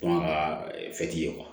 Kɔn ka ye